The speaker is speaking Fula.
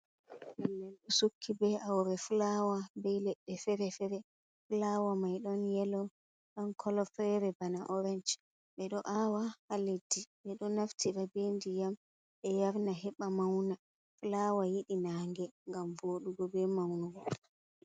Nnen sukki be aure fulawa be ledde-fere-fere. Fulawa mai don yelo don kolo fere bana orance be do awa ha leddi, be do naftira be ndiayam be yarna heba mauna. Fulawa yidi nange gam vodugo be maunugo.